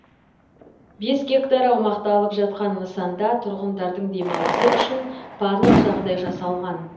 бес гектар аумақты алып жатқан нысанда тұрғындардың демалысы үшін барлық жағдай жасалған